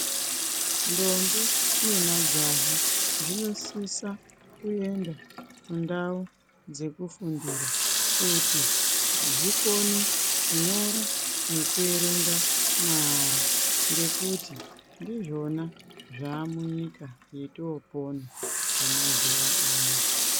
Ndombi nemajaha zvinosisa kuenda kundau dzekufundira kuti zvikone kunyora nekuerenga maara ngekuti ndizvona zvamunyika yotopona yemazuwa ano.